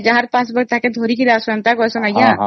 ସେ ଲୋକ ବି ଆସିବାକୁ ପଡିବ କୁହନ୍ତି